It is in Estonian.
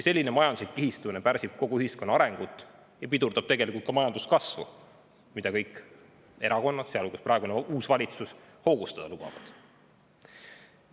Selline majanduslik kihistumine pärsib kogu ühiskonna arengut ja pidurdab tegelikult ka majanduskasvu, mida kõik erakonnad, sealhulgas praegune uus valitsus, hoogustada lubavad.